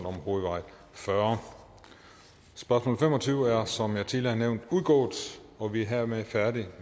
om hovedvej fyrre spørgsmål fem og tyve er som jeg tidligere har nævnt udgået og vi er hermed færdige